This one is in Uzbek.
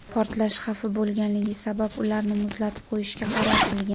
Portlash xavfi bo‘lganligi sabab, ularni muzlatib qo‘yishga qaror qilgan.